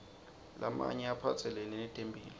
lamanye aphatselene netempihlo